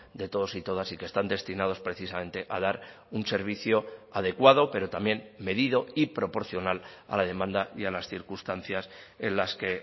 de todos y todas y que están destinados precisamente a dar un servicio adecuado pero también medido y proporcional a la demanda y a las circunstancias en las que